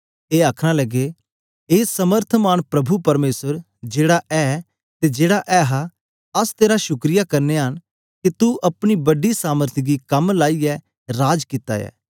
ए आखना लगे ए समर्थमान प्रभु परमेसर जेड़ा ऐ ते जेड़ा ऐहा अस तेरा शुक्रिया करनेया के तू अपने बडी सामर्थ गी कम लाईयै राज कित्ता ऐ